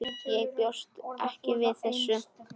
Ég bjóst ekki við þessu.